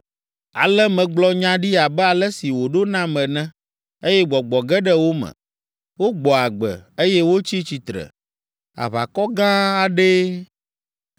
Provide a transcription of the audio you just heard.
Ale megblɔ nya ɖi abe ale si wòɖo nam ene, eye gbɔgbɔ ge ɖe wo me. Wogbɔ agbe, eye wotsi tsitre; aʋakɔ gã aɖee.